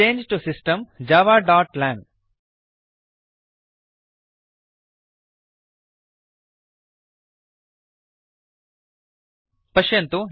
चङ्गे तो सिस्टम् javaलांग पश्यन्तु